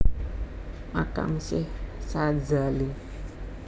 Makam Syekh Sadzali